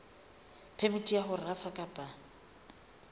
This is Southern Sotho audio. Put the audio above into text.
phemiti ya ho rafa kapa